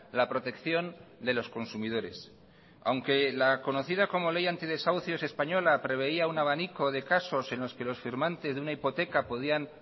la protección de los consumidores aunque la conocida como ley antidesahucios española preveía un abanico de casos en los que los firmantes de una hipoteca podían